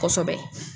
Kosɛbɛ